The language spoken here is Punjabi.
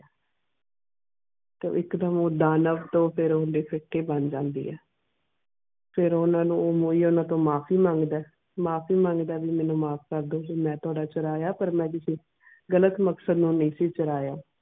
ਤੇ ਇਕ ਡੈਮ ਦਾਨਵ ਤੂੰ ਲਿਫੇਕ ਕੇ ਬਣ ਜਾਂਦੀਆਂ ਫਿਰ ਓਨਾ ਨੂੰ ਮੋਈ ਓਨਾ ਤੂੰ ਮਾਫੀ ਮੰਗਦਾ ਮਾਫੀ ਮੰਗਦਾ ਵੀ ਮੈਨੂੰ ਮਾਫ ਕਾਰਡੀਓ ਕ ਮੈਂ ਟਾਡਾ ਚੁਰਾਇ ਪਾਰ ਮੈਂ ਮਾਫੀ ਮੰਗਦਾ ਵੀ ਮੈਨੂੰ ਮਾਫ ਕਾਰਡੀਓ ਕ ਮੈਂ ਟਾਡਾ ਚੁਰਾਇ ਪਾਰ ਮੈਂ ਗ਼ਲਤ ਮਕਸਦ ਨਾਲ ਨੀ ਸੀ ਚੁਰਾਇ.